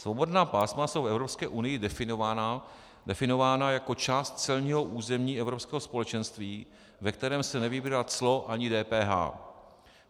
Svobodná pásma jsou v Evropské unii definována jako část celního území Evropského společenství, ve kterém se nevybírá clo ani DPH.